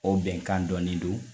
O bɛnkan dɔnnen do